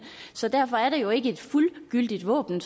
så derfor er det jo ikke et fuldgyldigt våben